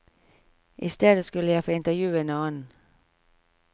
I stedet skulle jeg få intervjue en annen.